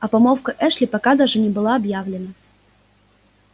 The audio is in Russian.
а помолвка эшли пока даже не была объявлена